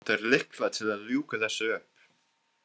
Vantar lykla til að ljúka þessu upp.